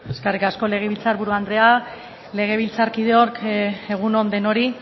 eskerrik asko legebiltzar buru andrea legebiltzarkideok egun on denoi